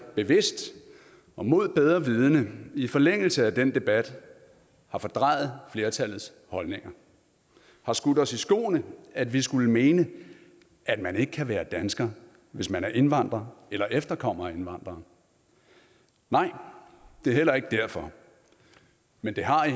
bevidst og mod bedre vidende i forlængelse af den debat har fordrejet flertallets holdninger har skudt os i skoene at vi skulle mene at man ikke kan være dansker hvis man er indvandrer eller efterkommer af indvandrere nej det er heller ikke derfor men det har i